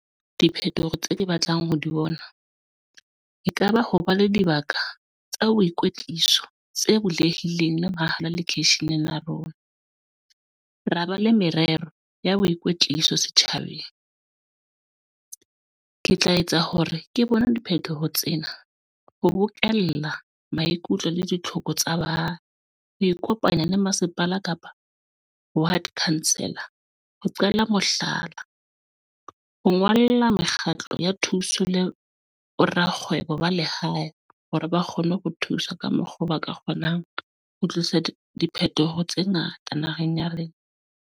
Diphetoho tseo ke batlang ho di bona. E ka ba ho ba le dibaka, tsa boikwetliso tse bulehileng le mabala lekeisheneng la rona. Ra ba le merero ya boikwetliso setjhabeng. Ke tla etsa hore ke bone diphethoho tsena, ho bokella maikutlo le ditlhoko tsa ba. Ho ikopanya le masepala kapa ward councilor. Ho qela mohlala, ho ngolla mekgatlo ya thuso le bo rakgwebo ba lehae, hore ba kgone ho thuswa ka mokgwa oo ba ka kgonang. Ho tlisa diphethoho tse ngata naheng ya le.